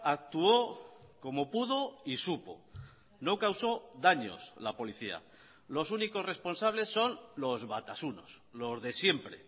actuó como pudo y supo no causó daños la policía los únicos responsables son los batasunos los de siempre